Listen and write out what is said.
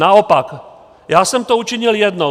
Naopak, já jsem to učinil jednou.